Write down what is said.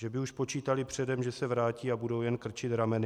"Že by už počítali předem, že se vrátí a budou jen krčit rameny?"